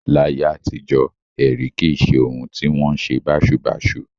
Láyé àtijọ́, ẹ̀rí kì í ṣe ohun tí ó wọn ṣe báṣubàṣu